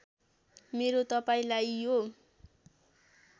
मेरो तपाईँलाई यो